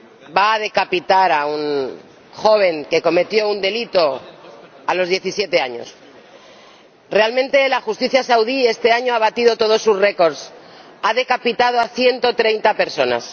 Señora Presidenta, Arabia Saudí va a decapitar a un joven que cometió un delito a los 17 años. Realmente, la justicia saudí este año ha batido todos sus récords. Ha decapitado a ciento treinta personas.